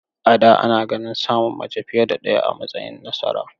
A da, ana ganin samun mace fiye da ɗaya a matsayin nasara.